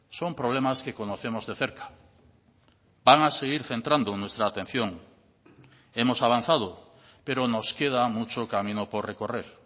son problemas que conocemos de cerca van a seguir centrando nuestra atención hemos avanzado pero nos queda mucho camino por recorrer